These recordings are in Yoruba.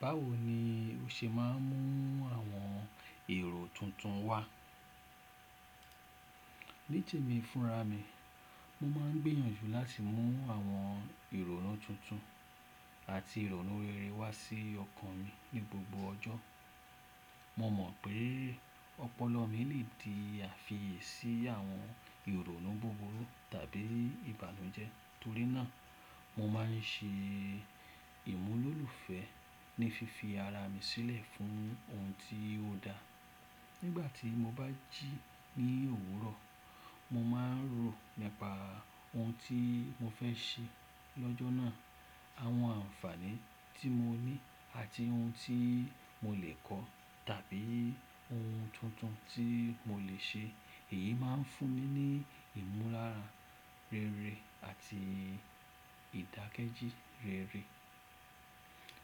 Báwo ni o ṣe máa ń mú àwọn èrò tuntun wá? Ní temí fúnra mi, mo máa ń gbìyànjú láti mú àwọn ìrònú tuntun àti ìrònú rere wá sí ọkàn mi ní gbogbo ọjọ́. Mo mọ̀ pé ọpọlọ mi lè di àfiyèsí àwọn ìrònú buburu tàbí ìbànújẹ́ torí náà mo máa ń ṣe ìmúlòlùfẹ́ ní fi fi ara mi sílẹ̀ fún ohun tí ó da. Nígbà tí mo bá jí ní òwúrọ̀, mo máa ń rò nípa ohun tí mo fẹ́ ṣe lọ́jọ́ náà, àwọn àǹfààní tí mo ní àti ohun tí mo lè kọ́ tàbí ohun tuntun tí mo lè ṣe. Èyí máa ń fún mi ní ìmúlára rere àti ìdàkejì rere.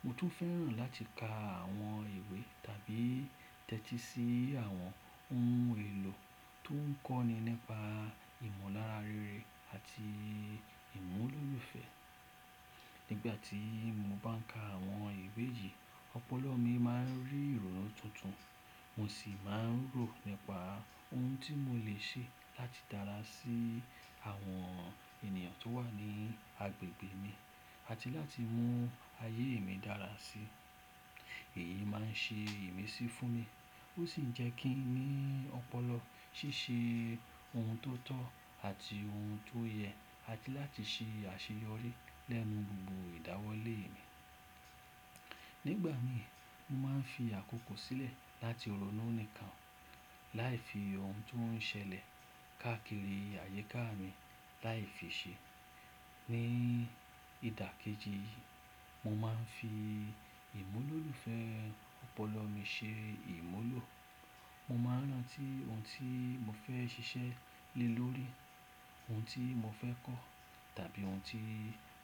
Mo tún fẹ́ràn láti ka àwọn ìwé tàbí tẹ́tí sí àwọn ohun èlò tó ń kọ́ni nípa ìmúlára rere àti ìmúlòlùfẹ́. Nígbà tí mo bá ń ka àwọn ìwé yìí, ọpọlọ mi máa ń rí ìrònú tuntun, mo sì máa ń rò nípa ohun tí mo lè ṣe láti dára sí àwọn ènìyàn tó wà ní agbègbè mi àti láti mú ayé mi dára sí. Èyí máa ń ṣe ìmísí fún mi ó sì ń jẹ́ kí n ní ọpọlọ ṣíṣe ohun tó tọ́ àti ohun tó yẹ àti láti ṣe àṣeyọrí lẹ́nu gbogbo ìdáwólé mi. Nígbà mi mo máa ń fi àkókò sílẹ̀ láti rònú nìkan láì fi ohun tó ń ṣẹlẹ̀ káàkiri àyíká mi láì fi ṣe. Ní ìdàkejì, mo máa ń fi ìmúlòlùfẹ́ ọpọlọ mi ṣe ìmúlò. Mo máa ń rántí ohun tí mo fẹ́ ṣiṣẹ́ lé lórí, ohun tí mo fẹ́ kọ́ tàbí ohun tí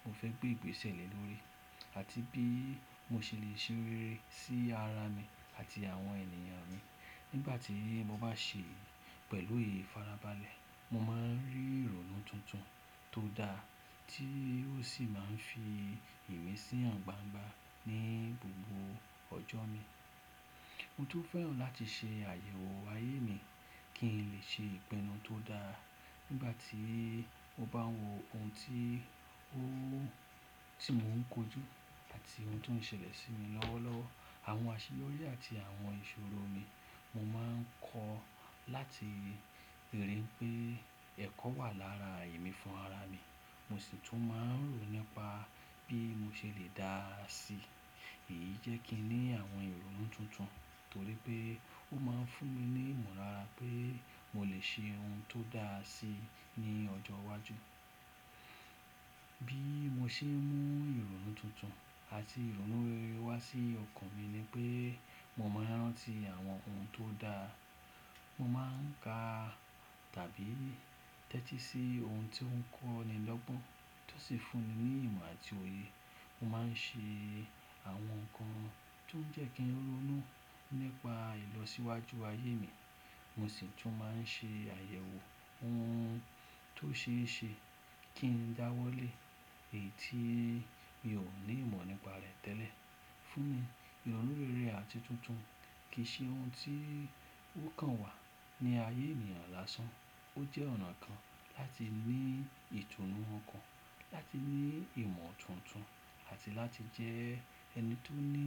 mo fẹ́ gbé ìgbésẹ̀ le lórí àti bí mo ṣe lè ṣe rere sí ara mi àti àwọn ènìyàn mi. Nígbà tí mo bá ṣe pẹ̀lú èyí farabalẹ̀, mo máa ń rí ìrònú tuntun tó da tí ó sì máa ń fi ìmísí han gbangbà ní gbogbo ọjọ́ mi. Mo tún fẹ́ràn láti ṣe àyẹ̀wò ayé mi kí n lè ṣe ìpinnu tó da nígbà tí mo bá ń wo ohun tí mo ń kojú àti ohun tó ń ṣẹlẹ̀ sí mi lọ́wọ́lọ́wọ́. Àwọn àṣeyọrí àti àwọn ìṣòro mi mo máa ń kọ́ láti rí i pé ẹ̀kọ́ wà lára èmí fún ara mi mo sì tún máa ń rò nípa bí mo ṣe lè dáa sí. Èyí jẹ́ kí n ní àwọn ìrònú tuntun torí pé ó máa ń fún mi ní ìmolara pé mo lè ṣe ohun tó dáa sí ní ọjọ́ iwájú. Bí mo ṣe ń mú ìrònú tuntun àti ìrònú rere wá sí ọkàn mi ni pé mo máa ń rántí àwọn ohun tó daa. Mo máa ń ka tàbí tẹ́tí sí ohun tí ó ń kọ́ni lọ́gbọ́n tó sì fún mi ní ìmọ̀ àti òye. Mo máa ń ṣe àwọn nǹkan tó ń jẹ́ kí n rònú nípa ìlọsíwájú ayé mi, mo sì tún máa ń ṣe àyẹ̀wò ohun tó ṣe é ṣe kí ń dáwọ́lé èyí tí mi ò ní ìmọ̀ nípa rẹ̀ tẹ́lẹ̀. Fún mi, ìrònú rere àti tuntun kì í ṣe ohun tí ó kan wà ní ayé ènìyàn lásán. Ó jẹ́ ọ̀nà kan láti ní ìtùnú ọkàn, láti ní ìmọ̀ tuntun àti láti jẹ́ ẹni tó ní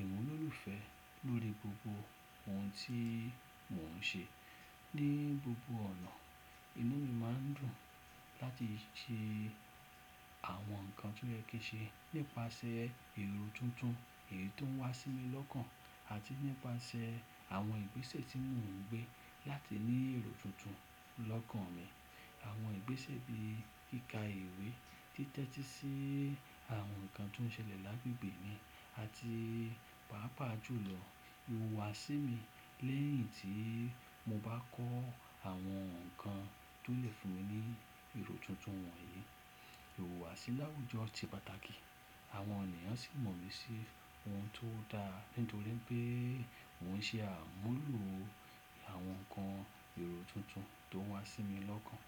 ìmúlòlùfẹ́ lórí gbogbo ohun tí mò ń ṣe ní gbogbo ọ̀nà. Inú mi máa ń dùn láti ṣe àwọn nǹkan tí ó yẹ́ kí n ṣe nípasẹ̀ èrò tuntun èyí tó ń wá sí mi lọ́kàn àti nípasẹ̀ àwọn ìgbésẹ̀ tí mò ń gbé láti ní èrò tuntun lọ́kàn mi. Àwọn ìgbésẹ̀ bí i kíkà ìwé, títẹ́tí sí àwọn nǹkan tó ń ṣẹlẹ̀ lágbègbè mi àti pàápàá jùlọ ìhùwàsí mi lẹ́yìn tí mo bá kọ́ àwọn nǹkan tó lè fún mi ní èrò tuntun wọ̀nyí. Ìhùwàsí láwùjọ ti pàtàkì àwọn ènìyàn sì mọ̀ mí sí ohun tó daa nítorí pé mò ń ṣe àmúlò àwọn nǹkan èrò tuntun tó n wá sí mi lọ́kàn.